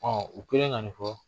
Ɔ o kɛlen ka nin fɔ